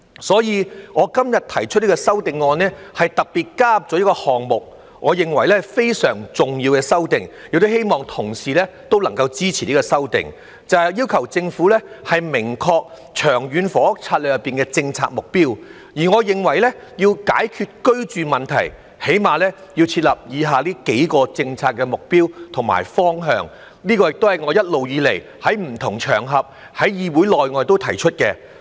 所以，我今天提出的修正案，特別加入了一個項目，我認為是非常重要的修訂，亦希望同事能夠支持這項修訂，就是要求政府明確《長策》的政策目標，而我認為要解決居住問題，起碼要設立以下幾個政策目標及方向，這亦是我一直以來在不同場合、在議會內外提出的。